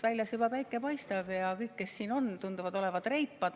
Väljas juba päike paistab ja kõik, kes siin on, tunduvad olevat reipad.